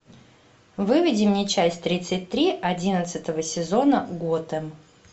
выведи мне часть тридцать три одиннадцатого сезона готэм